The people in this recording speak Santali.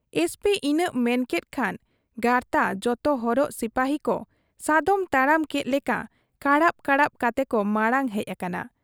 ᱮᱥᱹᱯᱤᱹ ᱤᱱᱟᱹᱜ ᱢᱮᱱᱠᱮᱫ ᱠᱷᱟᱱ ᱜᱟᱨᱛᱟ ᱡᱚᱛᱚ ᱦᱚᱨᱚᱜ ᱥᱤᱯᱟᱹᱦᱤᱠᱚ ᱥᱟᱫᱚᱢ ᱛᱟᱲᱟᱢ ᱠᱮᱫ ᱞᱮᱠᱟ ᱠᱟᱲᱟᱵ ᱠᱟᱲᱟᱵ ᱠᱟᱛᱮᱠᱚ ᱢᱟᱬᱟᱝ ᱦᱮᱡ ᱟᱠᱟᱱᱟ ᱾